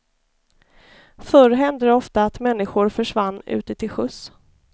Förr hände det ofta att människor försvann ute till sjöss.